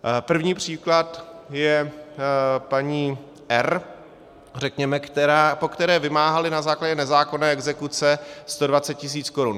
První příklad je paní R., po které vymáhali na základě nezákonné exekuce 120 tisíc korun.